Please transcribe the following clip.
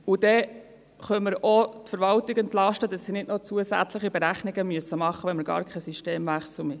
Dann können wir auch die Verwaltung entlasten, damit sie nicht noch zusätzliche Berechnungen machen müssen, wenn wir gar keinen Systemwechsel wollen.